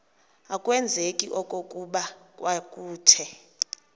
akwazeki okokuba kwakuthe